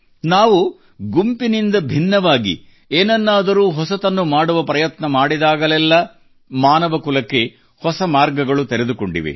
ನಾವು ಗುಂಪಿನಿಂದ ಭಿನ್ನವಾಗಿ ಏನನ್ನಾದರೂ ಹೊಸತನ್ನು ಮಾಡುವ ಪ್ರಯತ್ನ ಮಾಡಿದಾಗಲೆಲ್ಲ ಮಾನವ ಕುಲಕ್ಕೆ ಹೊಸ ಮಾರ್ಗಗಳು ತೆರೆದುಕೊಂಡಿವೆ